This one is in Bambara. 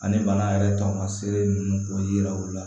Ani bana yɛrɛ tamaselen ninnu k'o yira u la